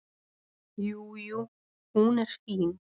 Jú, jú. hún er fín.